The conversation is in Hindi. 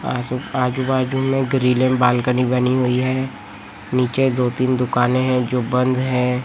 आजू बाजू में ग्रीलें बालकनी बनी हुई है नीचे दो तीन दुकानें हैं जो बंद है।